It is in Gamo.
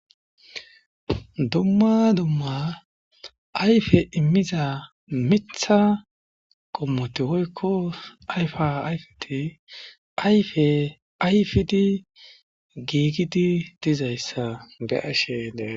Dumma dumma ayfe immiza mitta qommoto woykko ayfa ayfiti ayfe ayfidi giigidi dizayssa be'ashenee.